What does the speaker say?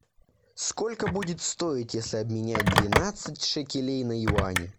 сколько будет стоить если обменять двенадцать шекелей на юани